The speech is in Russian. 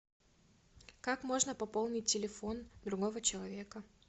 как можно пополнить телефон другого человека